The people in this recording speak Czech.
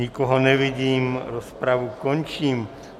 Nikoho nevidím, rozpravu končím.